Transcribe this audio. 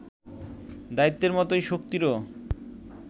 দায়িত্বের মতোই শক্তিরও